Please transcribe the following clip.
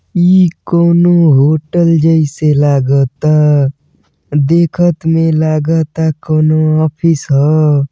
ई कौनो होटल जैसे लागता देखत में लागता कउनो ऑफिस ह।